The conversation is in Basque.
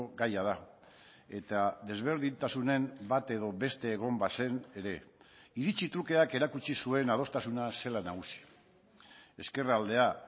gaia da eta desberdintasunen bat edo beste egon bazen ere iritzi trukeak erakutsi zuen adostasuna zela nagusi ezkerraldea